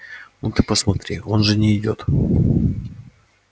ну ты посмотри он же не идёт